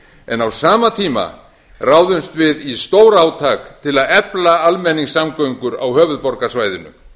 en á sama tíma ráðumst við í stórátak til að efla almenningssamgöngur á höfuðborgarsvæðinu